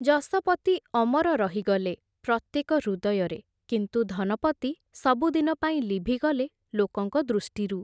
ଯଶପତି ଅମର ରହିଗଲେ, ପ୍ରତ୍ୟେକ ହୃଦୟରେ, କିନ୍ତୁ ଧନପତି, ସବୁଦିନ ପାଇଁ ଲିଭିଗଲେ ଲୋକଙ୍କ ଦୃଷ୍ଟିରୁ ।